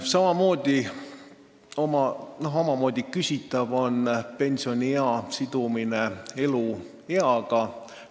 Samamoodi on küsitav pensioniea sidumine eeldatava elueaga.